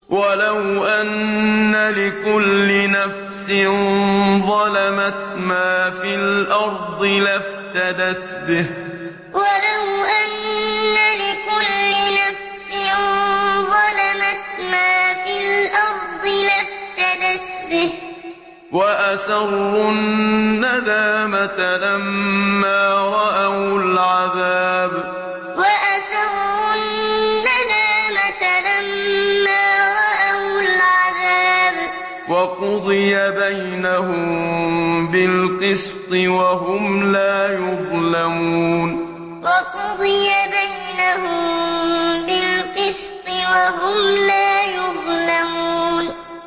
وَلَوْ أَنَّ لِكُلِّ نَفْسٍ ظَلَمَتْ مَا فِي الْأَرْضِ لَافْتَدَتْ بِهِ ۗ وَأَسَرُّوا النَّدَامَةَ لَمَّا رَأَوُا الْعَذَابَ ۖ وَقُضِيَ بَيْنَهُم بِالْقِسْطِ ۚ وَهُمْ لَا يُظْلَمُونَ وَلَوْ أَنَّ لِكُلِّ نَفْسٍ ظَلَمَتْ مَا فِي الْأَرْضِ لَافْتَدَتْ بِهِ ۗ وَأَسَرُّوا النَّدَامَةَ لَمَّا رَأَوُا الْعَذَابَ ۖ وَقُضِيَ بَيْنَهُم بِالْقِسْطِ ۚ وَهُمْ لَا يُظْلَمُونَ